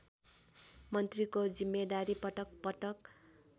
मन्त्रीको जिम्मेदारी पटकपटक